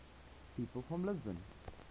people from lisbon